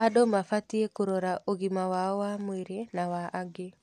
Andũ mabatiĩ kũrora ũgima wao wa mwĩrĩ na wa angĩ.